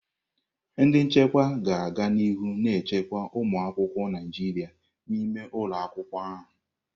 Ndị nchekwa ga-aga n'ihu na-echekwa ụmụ akwụkwọ Naịjirịa n'ime ụlọ akwụkwọ ahụ.